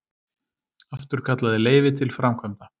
Afturkallaði leyfi til framkvæmda